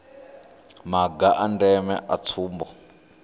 maga a ndeme a tsumbo